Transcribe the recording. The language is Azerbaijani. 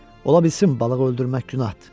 Ola bilsin balıq öldürmək günahdır.